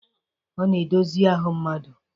Ọ na edozi ahụ mmadụ.